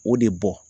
O de bɔ